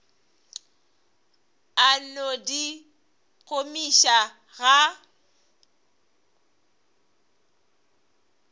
a no di gomiša ga